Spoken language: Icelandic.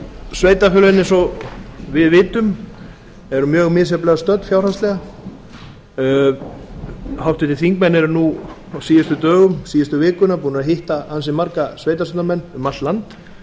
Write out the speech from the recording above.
sveitarfélögin eins og við vitum eru mjög misjafnlega stödd fjárhagslega háttvirtir þingmenn eru nú á síðustu dögum síðustu vikuna búnir að hitta ansi marga sveitarstjórnarmenn um allt land